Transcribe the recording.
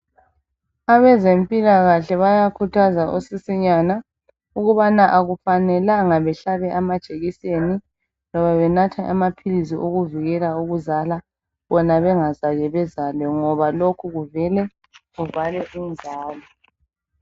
Abazempilakahle bayakhuthaza osisinyana ukubana akufanelanga behlabe amajekiseni loba benathe amaphilisi okuvikela ukuzala bona bengakaze bezale ngoba lokhu kuvele kuvale inzalo.